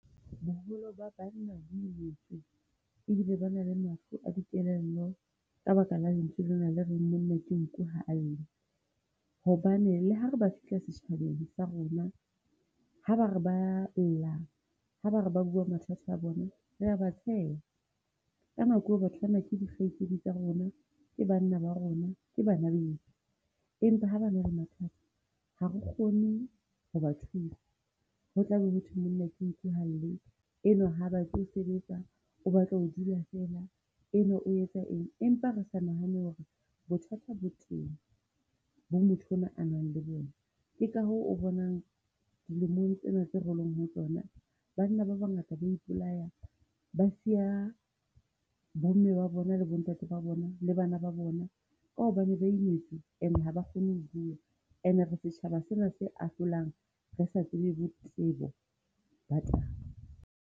Boholo ba banna ba imetswe e bile ba na le mafu a dikelello ka baka la lentswe lena le reng monna ke nku ha a lle. Hobane le ha ba re ba fihla setjhabeng sa rona, ha ba re ba a lla ha ba re ba bua mathata a bona, re a ba tsheha. Ka nako eo batho bana ke dikgaitsedi tsa rona, ke banna ba rona, ke bana beso. Empa ha ba na ba mathata ha re kgone ho ba thusa. Ho tla be ho thwe monna ke nku ha a lle. Enwa ha batle ho sebetsa o batla ho dula fela. Enwa o etsa eng. Empa re sa nahana hore bothata bo teng bo motho enwa a nang le bona. Ke kahoo o bonang dilemong tsena tseo re leng ho tsona banna ba bangata ba a ipolaya, ba siya bomme ba bona le bontate ba bona le bana ba bona. Ka hobane ba imetswe e ne ha ba kgone ho bua. Ene re setjhaba sena se ahlolang. Re sa tsebe bo bo ba taba.